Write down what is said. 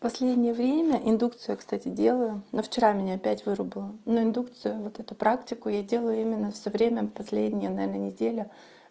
последнее время индукция кстати делаю но вчера меня опять вырубило но индукцию вот эту практику я делаю именно всё время последнюю наверное неделю